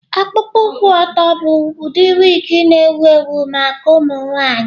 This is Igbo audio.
Ọkpụkpụ kwụ ọtọ bụ ụdị wig na-ewu ewu maka ụmụ nwanyị.